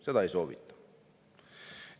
Seda ei soovita.